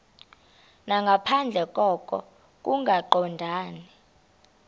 nangaphandle koko kungaqondani